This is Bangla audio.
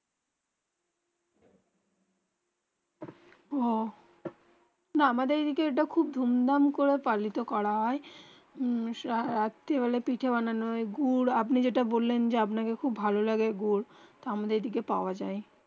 উহঃ না আমাদের যেই দিকে খুব ধূম ধাম করে পালিত করা হয়ে রাত্রি বেলা পিঠে বানানো হয়ে গুড় আপনি যেটা বললেন যে আপনা কে খুব ভালো গুড় আমাদের এদিকে পাওবা যায়